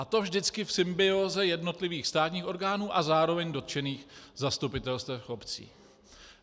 A to vždycky v symbióze jednotlivých státních orgánů a zároveň dotčených zastupitelstev obcí.